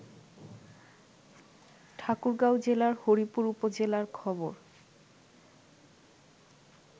ঠাকুরগাঁও জেলার হরিপুর উপজেলার খবর